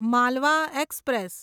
Malwa express